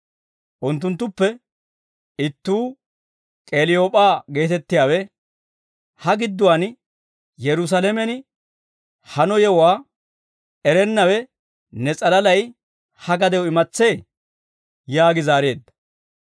Unttunttuppe ittuu K'eliyoop'aa geetettiyaawe, «Ha gidduwaan Yerusaalamen hano yewuwaa erennawe ne s'alalay ha gadew imatsee?» yaagi zaareedda.